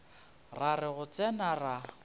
ra re go tsena ra